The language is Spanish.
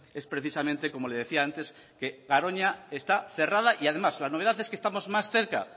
es precisamente como le decía antes que garoña está cerrada y además la novedad es que estamos más cerca